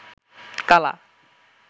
কালা